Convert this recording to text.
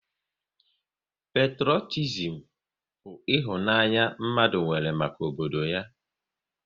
Petrotizim bụ ịhụnanya mmadụ nwere maka obodo ya